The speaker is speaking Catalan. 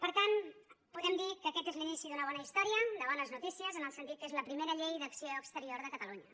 per tant podem dir que aquest és l’inici d’una bona història de bones notícies en el sentit que és la primera llei d’acció exterior de catalunya